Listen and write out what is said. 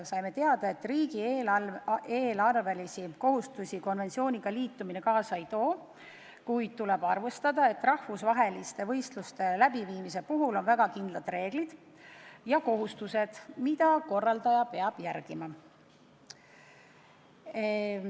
Saime teada, et riigieelarvelisi kohustusi konventsiooniga liitumine kaasa ei too, kuid tuleb arvestada, et rahvusvaheliste võistluste läbiviimisel on väga kindlad reeglid ja kohustused, mida korraldaja peab täitma.